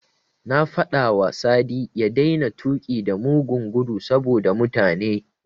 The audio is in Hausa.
Na faɗawa Sadi ya daina tuƙi da mugun gudu saboda mutane.